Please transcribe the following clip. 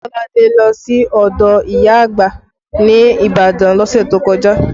Kolade lọ sí ọdọ ìyá àgbà ní Ibadan lọ́sẹ̀ tó kọjá